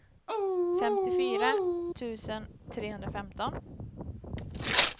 femtiofyra tusen trehundrafemton